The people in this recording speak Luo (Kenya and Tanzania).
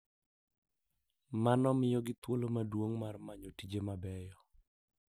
Mano miyogi thuolo maduong’ mar manyo tije mabeyo.